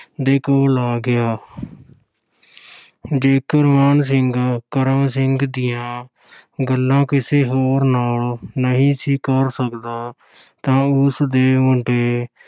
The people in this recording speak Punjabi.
ਦੇ ਕੋਲ ਆ ਗਿਆ ਜੇਕਰ ਮਾਨ ਸਿੰਘ ਕਰਮ ਸਿੰਘ ਦੀਆਂ ਗੱਲਾਂ ਕਿਸੇ ਹੋਰ ਨਾਲ ਨਹੀਂ ਸੀ ਕਰ ਸਕਦਾ ਤਾਂ ਉਸਦੇ ਮੁੰਡੇ